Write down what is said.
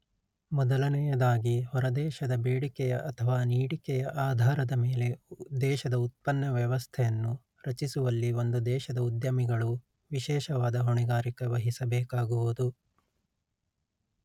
ಮೊದಲನೆಯದಾಗಿ ಹೊರದೇಶದ ಬೇಡಿಕೆಯ ಅಥವಾ ನೀಡಿಕೆಯ ಆಧಾರದ ಮೇಲೆ ದೇಶದ ಉತ್ಪನ್ನ ವ್ಯವಸ್ಥೆಯನ್ನು ರಚಿಸುವಲ್ಲಿ ಒಂದು ದೇಶದ ಉದ್ಯಮಿಗಳು ವಿಶೇಷವಾದ ಹೊಣೆಗಾರಿಕೆ ವಹಿಸಬೇಕಾಗುವುದು